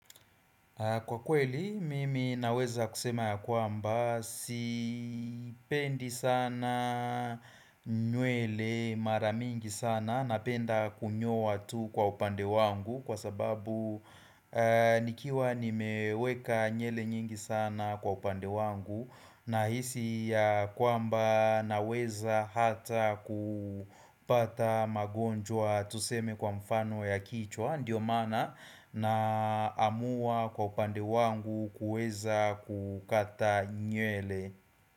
Kwa kweli mimi naweza kusema ya kwamba sipendi sana nywele mara mingi sana napenda kunyowa tu kwa upande wangu kwa sababu nikiwa nimeweka nywele nyingi sana kwa upande wangu Nahisi ya kwamba naweza hata kupata magonjwa tuseme kwa mfano ya kichwa. Ndiyo maana naamua kwa upande wangu kuweza kukata nywele.